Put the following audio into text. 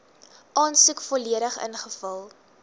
aansoek volledig ingevul